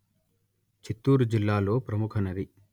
చిత్తూరు జిల్లాలో ప్రముఖ నది